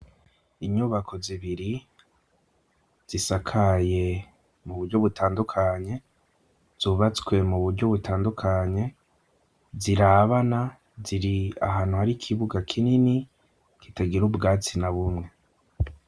inyubako zibiri zisakaye muburyo butandukanye zubatswe muburyo butandukanye zirabana ziri ahantu hari ikibuga kinini kitagira ubwatsi na bumwe